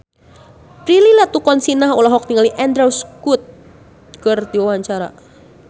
Prilly Latuconsina olohok ningali Andrew Scott keur diwawancara